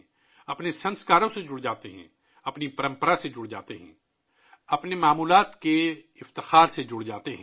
ہم اپنے سنسکاروں سے جڑ جاتے ہیں، ہم اپنی روایت سے جڑ جاتے ہیں، ہم اپنی قدیم شان سے جڑ جاتے ہیں